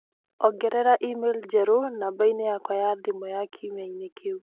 ongerera email njerũ namba-inĩ yakwa ya thimũ ya kiumia kĩu